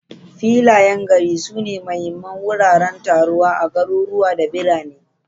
Filayen gari sune mahimman wuraren taruwa a garuruwa da birane.